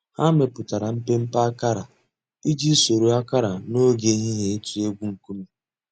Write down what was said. Hà mẹpùtárà mpémpé àkárà íjì sòrò àkárà n'ògè èhìhìè’s ị̀tụ̀ ègwù ńkùmé̀.